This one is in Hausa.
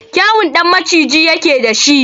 Kyawun ɗan maciji yake da shi.